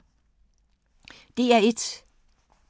DR1